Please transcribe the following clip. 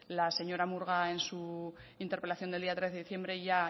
la señora murga en su interpelación del día trece de diciembre ya